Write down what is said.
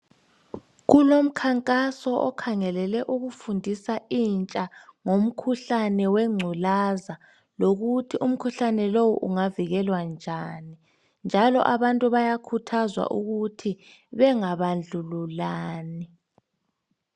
Kulomkhankaso okhangelele ukufundisa intsha ngumkhuhlane wengculaza lokuthi umkhuhlane lowu ungavikelwa njani njalo abantu bayakhuthazwa ukuthi benga bandlululani.